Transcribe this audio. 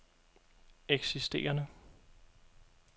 eksisterende